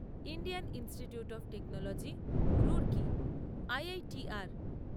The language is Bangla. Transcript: Indian Institute of Technology Roorkee IITR